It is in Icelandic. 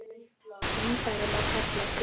Kynfæri má kalla þing.